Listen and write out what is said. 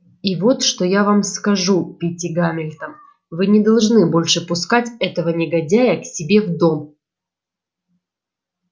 и вот что я вам скажу питти гамильтон вы не должны больше пускать этого негодяя к себе в дом